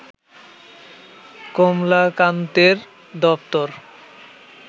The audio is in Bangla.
কমলাকান্তের দপ্তর